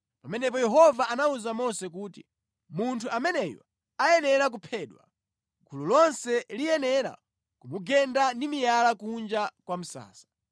Pamenepo Yehova anawuza Mose kuti, “Munthu ameneyu ayenera kuphedwa. Gulu lonse liyenera kumugenda ndi miyala kunja kwa msasa.”